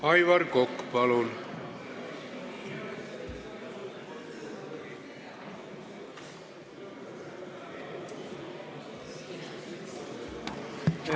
Aivar Kokk, palun!